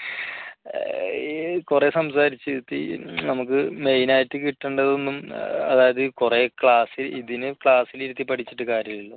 കുറെ സംസാരിച്ചു നമുക്ക് main ആയിട്ട് കിട്ടേണ്ടതൊന്നും അതായത് കുറെ class ഇതിന് class ൽ ഇരുത്തി പഠിച്ചിട്ട് കാര്യമില്ല